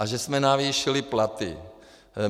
A že jsme navýšili platy.